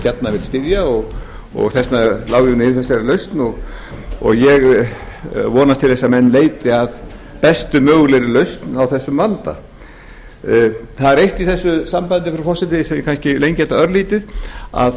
gjarnan vil styðja og þess vegna er ég með einfaldari lausn og ég vonast til að menn leiti að bestu mögulegri lausn á þessum vanda það er eitt í þessu sambandi frú forseti svo ég kannski lengi þetta örlítið